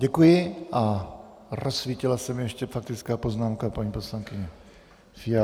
Děkuji a rozsvítila se mi ještě faktická poznámka paní poslankyně Fialové.